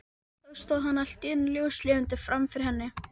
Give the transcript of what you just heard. Það byggir á valdajafnvægi kynjanna og sjálfræði kvenna.